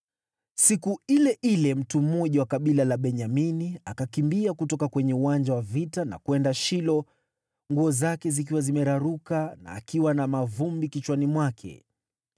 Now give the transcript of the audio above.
Siku ile ile mtu mmoja wa kabila la Benyamini akakimbia kutoka kwenye uwanja wa vita na kwenda Shilo, nguo zake zikiwa zimeraruka na akiwa na mavumbi kichwani mwake.